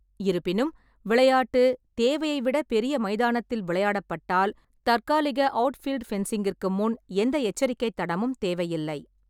இருப்பினும், விளையாட்டு தேவையை விட பெரிய மைதானத்தில் விளையாடப்பட்டால், தற்காலிக அவுட்ஃபீல்ட் ஃபென்சிங்கிற்கு முன் எந்த எச்சரிக்கை தடமும் தேவையில்லை.